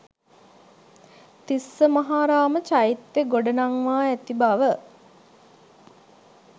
තිස්සමහාරාම චෛත්‍යය ගොඩනංවා ඇති බව